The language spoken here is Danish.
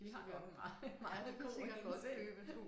De har nok en meget meget god indtægt